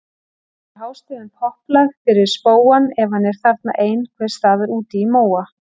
Syngur hástöfum popplag fyrir spóann ef hann er þarna ein- hvers staðar úti í móa.